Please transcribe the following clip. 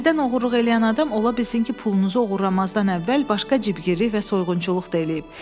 Sizdən oğurluq eləyən adam ola bilsin ki, pulunuzu oğurlamazdan əvvəl başqa cibgirlik və soyğunçuluq da eləyib.